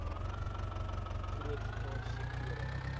groot getal sektore